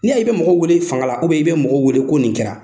N'i y'a y'i bɛ mɔgɔ wele fanga la i bɛ mɔgɔ wele ko nin kɛra